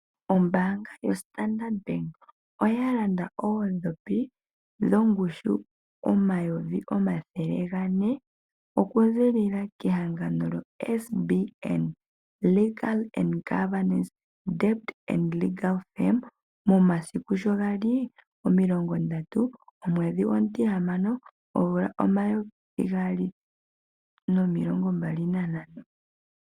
Ombaanga yoStandard oya landa oodhopi dhongushu 400 000, oku zilila kehangano lyo SBN Legal & Governance Dept and Legal Firms momasiku sho gali 30-06-2025.